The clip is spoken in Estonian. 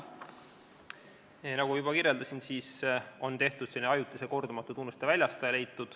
Nii nagu ma juba kirjeldasin, on leitud ajutine kordumatute tunnuste väljastaja.